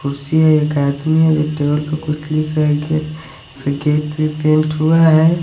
कुर्सी है एक आदमी है जो टेबल पे कुछ लिख रहा है गेट फिर गेट भी पेंट हुआ है।